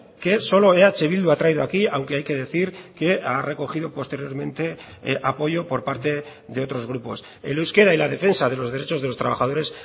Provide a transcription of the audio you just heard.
que solo eh bildu ha traído aquí aunque hay que decir que ha recogido posteriormente apoyo por parte de otros grupos el euskera y la defensa de los derechos de los trabajadores